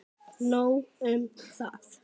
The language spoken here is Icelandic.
Nóg um það!